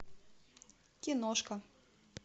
киношка